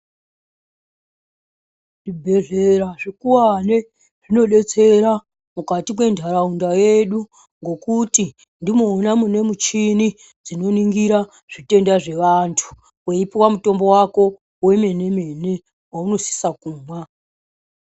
Zvibhedhleya zvikuwani zvinodetsera mukati mwentharaunda yedu ngokuti ndimwona mune michini dzinoningira zvitenda zvevanthu weipuwa mutombo wako wemene mene waunosisa kumwa.